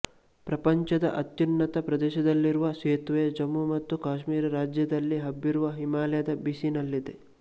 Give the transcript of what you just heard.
ಪ್ರಪಂಚದ ಅತ್ಯುನ್ನತ ಪ್ರದೇಶದಲ್ಲಿರುವ ಸೇತುವೆ ಜಮ್ಮು ಮತ್ತು ಕಾಶ್ಮೀರ ರಾಜ್ಯದಲ್ಲಿ ಹಬ್ಬಿರುವ ಹಿಮಾಲಯದ ಬೀಸಿನಲ್ಲಿದೆ